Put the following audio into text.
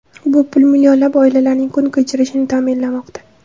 Bu pul millionlab oilalarning kun kechirishini ta’minlamoqda.